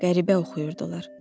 Qəribə oxuyurdular.